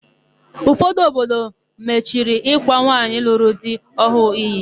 Ụfọdụ obodo machiri ịkwa nwaanyị lụrụ di ọhụụ iyi.